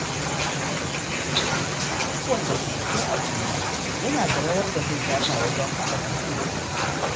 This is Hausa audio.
Duk wanda ke cikin al’umma yana da rawar da zai taka wajen haɓaka haɗin kai.